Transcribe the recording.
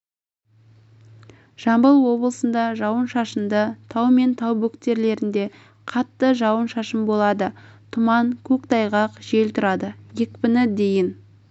жамбыл облысында жауын-шашынды тау мен тау бөктерлерінде қатты жауын-шашын болады тұман көктайғақ жел тұрады екпіні дейін